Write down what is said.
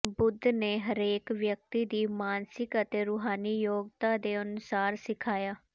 ਬੁੱਧ ਨੇ ਹਰੇਕ ਵਿਅਕਤੀ ਦੀ ਮਾਨਸਿਕ ਅਤੇ ਰੂਹਾਨੀ ਯੋਗਤਾ ਦੇ ਅਨੁਸਾਰ ਸਿਖਾਇਆ